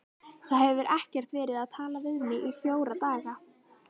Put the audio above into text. Það hefur ekkert verið talað við mig í fjóra daga.